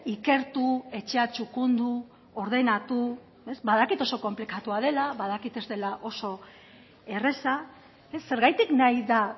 ikertu etxea txukundu ordenatu badakit oso konplikatua dela badakit ez dela oso erraza zergatik nahi da